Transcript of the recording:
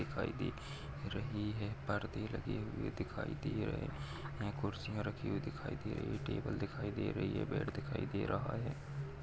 दिखाई दे रही है पर्दे लगे हुए दिखाई दे रहे है कुर्सिया रखी हुई दिखाई दे- टेबल दिखाई दे रही है बेड दिखाई दे रहा है।